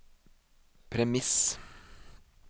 premiss